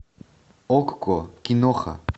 окко киноха